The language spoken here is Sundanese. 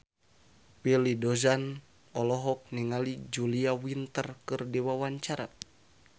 Willy Dozan olohok ningali Julia Winter keur diwawancara